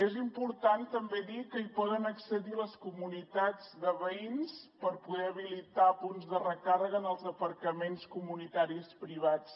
és important també dir que hi poden accedir les comunitats de veïns per poder habilitar punts de recàrrega en els aparcaments comunitaris privats